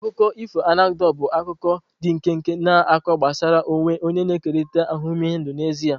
Akụkọ ifo anekdotu bụ akuko ndi nkenke na akụkọ gbasara onwe onye na-ekerịta ahụmịhe ndụ n'ezie.